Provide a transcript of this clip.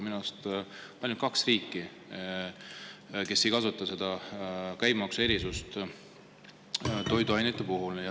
Minu arust on ainult kaks riiki, kes ei kasuta toiduainete puhul käibemaksuerisust.